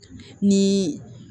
Ni